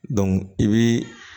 i bi